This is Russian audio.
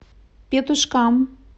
петушкам